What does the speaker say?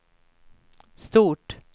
stort